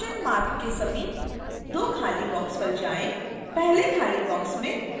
650 के समीप दो खाली बॉक्स पर जाएँ पहले खाली बॉक्स में 1 टाइप करें